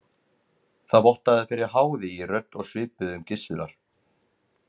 Það vottaði fyrir háði í rödd og svipbrigðum Gizurar.